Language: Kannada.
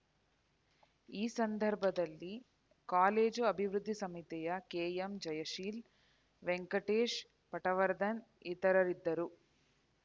ಈ ಸಂದರ್ಭದಲ್ಲಿ ಕಾಲೇಜು ಅಭಿವೃದ್ಧಿ ಸಮಿತಿಯ ಕೆಎಂ ಜಯಶೀಲ ವೆಂಕಟೇಶ್‌ ಪಟವರ್ಧನ್‌ ಇತರರಿದ್ದರು